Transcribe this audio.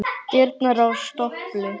Dyrnar á stöpli stóðu opnar.